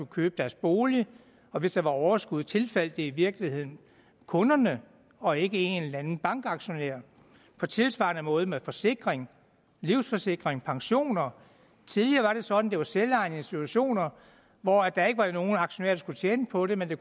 købe deres bolig hvis der var overskud tilfaldt det i virkeligheden kunderne og ikke en eller anden bankaktionær på tilsvarende måde med forsikring livsforsikring og pensioner tidligere var det sådan at det var selvejende institutioner hvor der ikke var nogle aktionærer der skulle tjene på det men det